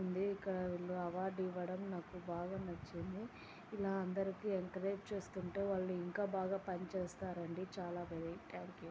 ఉంది. ఇక్కడ ఈ అవార్డు ఇవ్వడం నాకు బాగా నచ్చింది. ఇలా అందరికీ ఎంకరేజ్ చేస్తుంటే ఇంకా బాగా పని చేస్తారండి. చాలా గ్రేట్ థాంక్యూ .